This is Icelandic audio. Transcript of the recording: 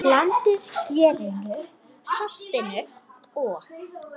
Blandið gerinu, saltinu og?